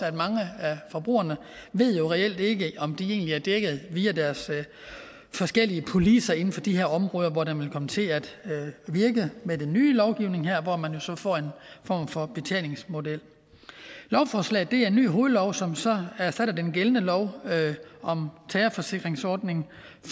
at mange af forbrugerne reelt ikke ved om de egentlig er dækket via deres forskellige policer inden for de her områder hvor det vil komme til at virke med den nye lovgivning her og hvor man jo så får en form for betalingsmodel lovforslaget er en ny hovedlov som så erstatter den gældende lov om terrorforsikringsordninger